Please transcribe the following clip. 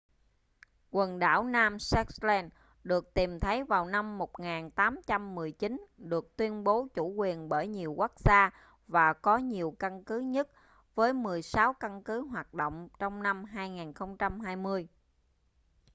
quần đảo nam shetland được tìm thấy vào năm 1819 được tuyên bố chủ quyền bởi nhiều quốc gia và có nhiều căn cứ nhất với 16 căn cứ hoạt động trong năm 2020